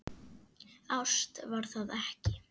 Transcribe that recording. Ást var það ekki.